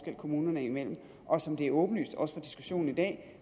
kommunerne imellem og som det er åbenlyst også i diskussionen i dag